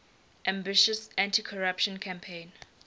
ambitious anticorruption campaign